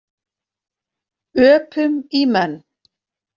Öpum í menn.